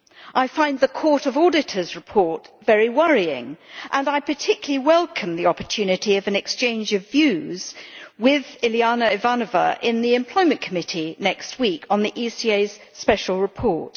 I find the Court of Auditors report very worrying and I particularly welcome the opportunity of an exchange of views with Iliana Ivanova, in the Employment Committee next week, on the ECA's special report.